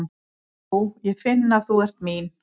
Ó, ég finn að þú ert mín.